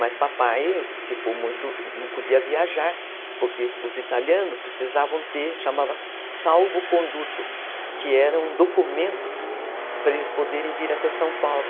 Mas papai, ficou, não podia viajar, porque os italianos precisavam ter, chamava salvo conduto, que era um documento para eles poderem vir até São Paulo.